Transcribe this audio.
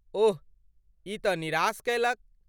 ओह, ई तँ निराश कयलक।